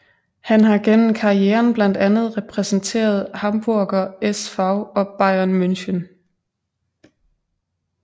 Han har gennem karrieren blandt andet repræsenteret Hamburger SV og Bayern München